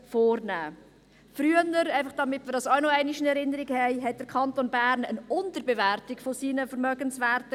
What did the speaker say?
Früher – einfach damit wir das auch noch einmal in Erinnerung haben – hatte der Kanton Bern eine Unterbewertung seiner Vermögenswerte.